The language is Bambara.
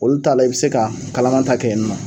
Olu ta la i bɛ se ka kalama ta kɛ yen nɔ.